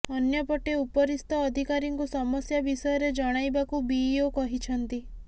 ଅନ୍ୟପଟେ ଉପରିସ୍ଥ ଅଧିକାରୀଙ୍କୁ ସମସ୍ୟା ବିଷୟରେ ଜଣାଇବାକୁ ବିଇଓ କହିଛନ୍ତି